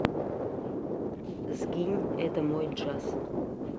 сгинь это мой джаз